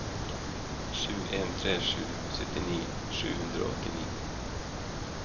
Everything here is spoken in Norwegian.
sju en tre sju syttini sju hundre og åttini